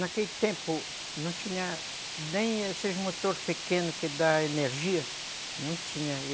Naquele tempo não tinha nem esses motores pequenos que dão energia, não tinham.